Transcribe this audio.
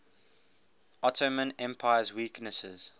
ottoman empire's weaknesses